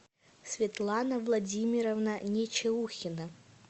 светлана владимировна нечеухина